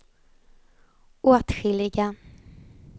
åtskilliga